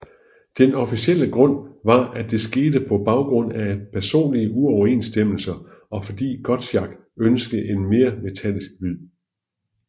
Den officielle grund var at det skete på baggrund af personlige uoverensstemmelser og fordi Gottschalk ønskede en mere metallisk lyd